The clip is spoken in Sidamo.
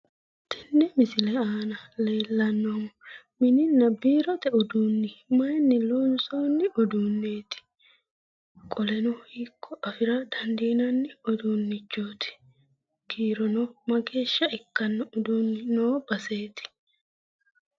Tenne misile aana leellannohu mininna biirote uduunni mayiinni loonsoonni uduunneeti? Qoleno hiikko afira dandiinanni uduunnichooti? kiirono mageeshsha ikkanno uduunni noo baseeti?